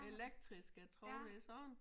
Elektriske trådløse sådan